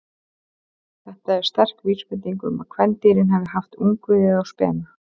Þetta er sterk vísbending um að kvendýrin hafi haft ungviðið á spena.